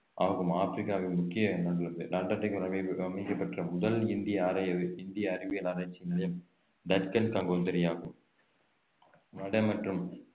ஆகும் ஆப்ரிக்காவில் முக்கிய முதல் இந்திய அறையில் இந்திய அறிவியல் ஆராய்ச்சி நிலையம் தட்சின் கங்கோத்திரி வட மற்றும்